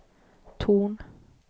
ton